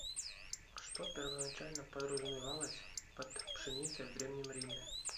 что первоначально подразумевалось под пшеницей в древнем риме